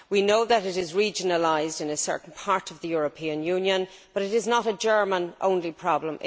We know it is regionalised in a certain part of the European Union, but it is not a German only problem